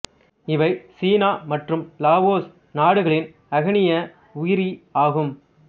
இவை சீனா மற்றும் லாவோஸ் நாடுகளின் அகணிய உயிரி ஆகும்